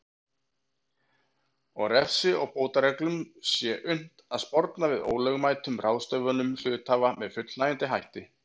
og refsi og bótareglum sé unnt að sporna við ólögmætum ráðstöfunum hluthafa með fullnægjandi hætti.